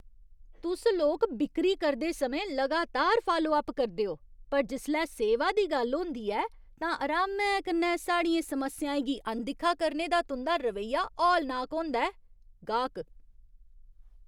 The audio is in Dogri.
तुस लोक बिक्करी करदे समें लगातार फालो अप करदे ओ, पर जिसलै सेवा दी गल्ल होंदी ऐ, तां अरामै कन्नै साढ़ियें समस्याएं गी अनदिक्खा करने दा तुं'दा रवैया हौलनाक होंदा ऐ। गाह्क